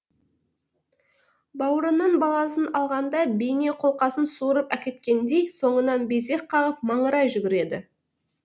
бауырынан баласын алғанда бейне қолқасын суырып әкеткендей соңыңнан безек қағып маңырай жүгіреді